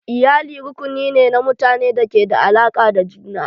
Iyali rukuni ne na mutanen da ke da alaƙa da juna.